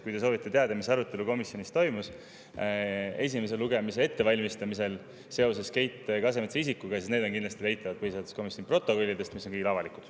Kui te soovite teada, mis arutelu komisjonis toimus esimese lugemise ettevalmistamisel seoses Keit Kasemetsa isikuga, siis mis on kindlasti leitavad põhiseaduskomisjoni protokollidest, mis on avalikud.